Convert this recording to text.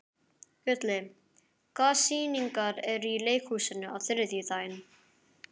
Gulli, hvaða sýningar eru í leikhúsinu á þriðjudaginn?